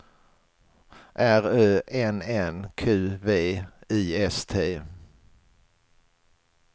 R Ö N N Q V I S T